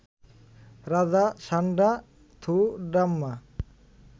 রাজা সান্ডা থুডাম্মা